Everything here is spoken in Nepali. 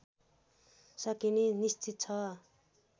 सकिने निश्चित छ